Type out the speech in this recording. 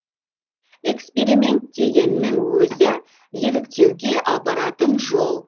эксперимент дегеннің өзі еліктеуге апаратын жол